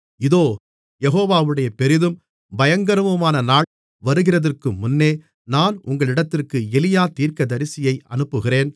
இதோ யெகோவாவுடைய பெரிதும் பயங்கரமுமான நாள் வருகிறதற்கு முன்னே நான் உங்களிடத்திற்கு எலியா தீர்க்கதரிசியை அனுப்புகிறேன்